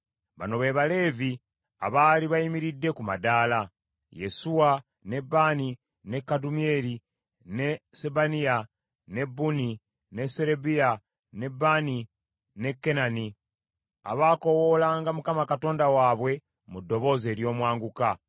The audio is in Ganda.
Bano be Baleevi abaali bayimiridde ku madaala: Yesuwa, ne Baani, ne Kadumyeri, ne Sebaniya, ne Bunni, ne Serebiya, ne Baani ne Kenani, abaakoowoolanga Mukama Katonda waabwe mu ddoboozi ery’omwanguka.